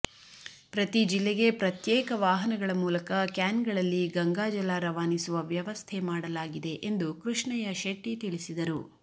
ಪ್ರತಿ ಜಿಲ್ಲೆಗೆ ಪ್ರತ್ಯೇಕ ವಾಹನಗಳ ಮೂಲಕ ಕ್ಯಾನ್ಗಳಲ್ಲಿ ಗಂಗಾಜಲ ರವಾನಿಸುವ ವ್ಯವಸ್ಥೆ ಮಾಡಲಾಗಿದೆ ಎಂದು ಕೃಷ್ಣಯ್ಯ ಶೆಟ್ಟಿ ತಿಳಿಸಿದರು